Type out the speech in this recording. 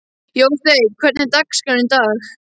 Jósteinn, hvernig er dagskráin í dag?